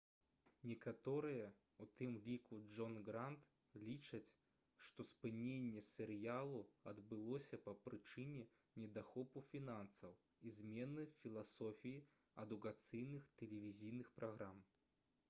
некаторыя у тым ліку джон грант лічаць што спыненне серыялу адбылося па прычыне недахопу фінансаў і змены філасофіі адукацыйных тэлевізійных праграм